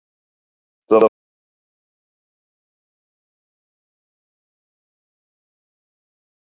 Kristján Már Unnarsson: Hver verða næstu skref í framhaldi af þessu?